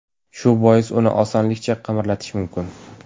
Shu bois uni osonlikcha qimirlatish mumkin.